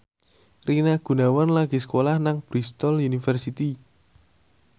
Rina Gunawan lagi sekolah nang Bristol university